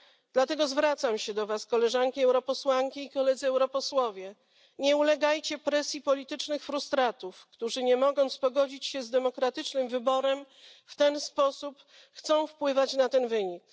Dlatego zwracam się do Was, Koleżanki Europosłanki i Koledzy Europosłowie, nie ulegajcie presji politycznych frustratów, którzy, nie mogąc pogodzić się z demokratycznym wyborem, w ten sposób chcą wpływać na ten wynik.